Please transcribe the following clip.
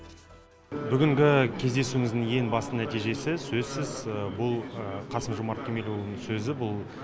бүгінгі кездесуіміздің ең басты нәтижесі сөзсіз бұл қасым жомарт кемелұлының сөзі бұл